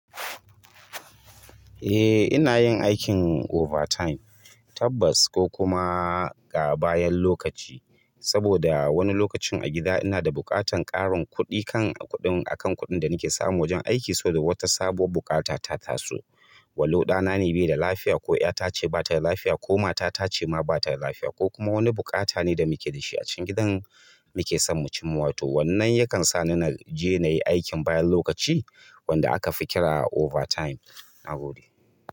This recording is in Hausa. Eh, ina yin aikin overtime tabbas ko kuma ga bayan lokaci. Saboda wani lokacin a gida ina da bukatan ƙarin kuɗi kan kuɗin akan kuɗin da nake samu wajen aiki saboda wata sabuwar bukata ta taso. Walqu ɗana ne bai da lafiya ko ƴata ce ba ta da lafiya ko mata ta ce ma ba ta da lafiya ko kuma wani buƙata ne da muke da shi a cikin gidan muke son mu cimma. To wannan yakan sa ni na je na yi aikin bayan lokaci wanda aka fi ƙira overtime. Nagode.